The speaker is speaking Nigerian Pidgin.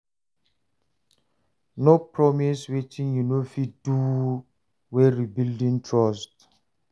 No promise wetin yu no fit do wen rebuilding trust.